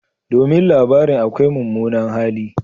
Domin labarin akwai mummunan hali.